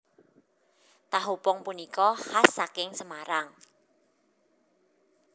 Tahu pong punika khas saking Semarang